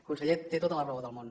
conseller té tota la raó del món